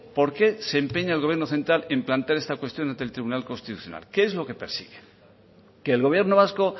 por qué se empeña el gobierno central en plantear esta cuestión ante el tribunal constitucional qué es lo que persigue que el gobierno vasco